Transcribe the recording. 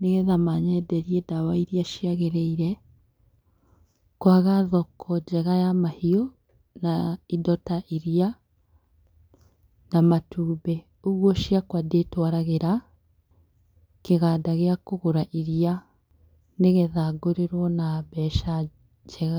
nĩgetha manyenderie ndawa iria ciagĩrĩire, kwaga thoko njega ya mahiũ na indo ya iria na matumbĩ, ũguo ciakwa ndĩtwaragĩra kĩganda gĩa kũgũra iria nĩgetha ngũrĩrwo na mbeca njega.